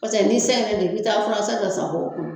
Paseke ni sɛngɛ don, i bi taa fura san kɛ sakɔ kun.